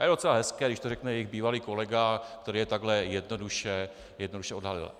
A je docela hezké, když to řekne jejich bývalý kolega, který je takhle jednoduše odhalil.